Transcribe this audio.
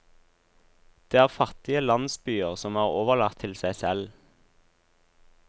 Det er fattige landsbyer som er overlatt til seg selv.